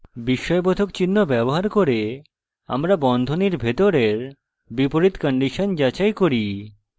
বিস্ময়বোধক চিহ্ন ব্যবহার করে আমরা বন্ধনীর ভিতরের বিপরীত condition যাচাই করি